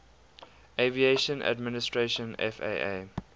aviation administration faa